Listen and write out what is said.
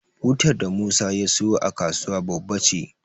Butar da Musa ya siyo a kasuwa babba ce.